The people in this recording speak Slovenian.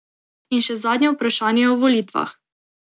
In še zadnje vprašanje o volitvah.